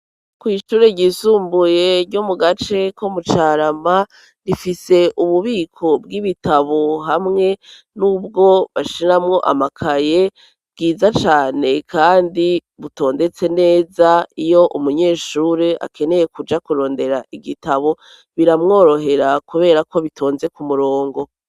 kw'ishure ryizumbuye ryo mu gace ko mu Carama rifise ububiko bw'ibitabo hamwe n'ubwo bashiramwo amakaye bwiza cane, kandi butondetse neza. Iyo umunyeshuri akeneye kuja kurondera igitabo biramworohera kubera ko bitonze ku murongo.